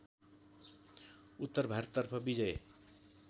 उत्तर भारततर्फ विजय